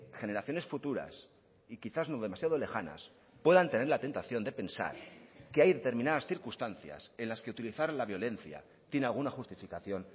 generaciones futuras y quizás no demasiado lejanas puedan tener la tentación de pensar que hay determinadas circunstancias en las que utilizar la violencia tiene alguna justificación